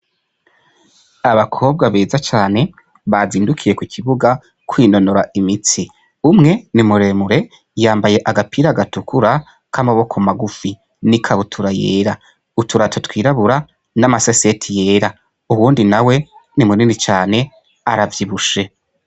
Abakobwa beza cane, bazindukiye ku kibuga, kwinonora imitsi. Umwe ni muremure, yambaye agapira gatukura k'amaboko magufu, n'ikabutura yera, uturato twirabura, n'amaseseti yera. Uwundi nawe ni munini cane, aravyibushe.